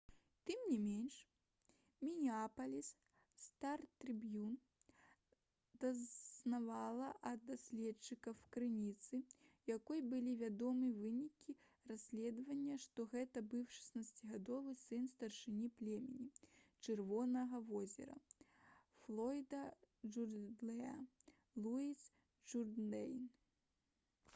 тым не менш «мінеапаліс стар-трыбьюн» дазналася ад дасведчанай крыніцы якой былі вядомы вынікі расследавання што гэта быў 16-гадовы сын старшыні племені «чырвонага возера» флойда джурдэйна луіс джурдэйн